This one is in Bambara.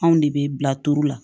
Anw de bɛ bila turu la